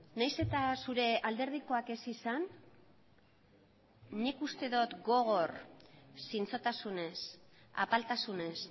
nahiz eta zure alderdikoak ez izan nik uste dut gogor zintzotasunez apaltasunez